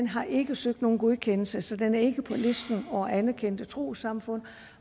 har ikke søgt nogen godkendelse så den er ikke på listen over anerkendte trossamfund